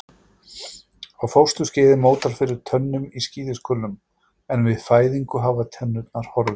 Á fósturskeiði mótar fyrir tönnum í skíðishvölum en við fæðingu hafa tennurnar horfið.